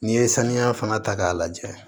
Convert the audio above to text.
N'i ye saniya fana ta k'a lajɛ